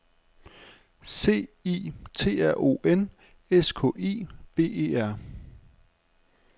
C I T R O N S K I V E R